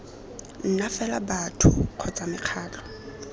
nna fela batho kgotsa mekgatlho